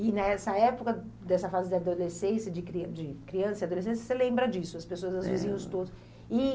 E nessa época, dessa fase de adolescência, de cri de criança e adolescência, você lembra disso, as pessoas, os vizinhos todos. E...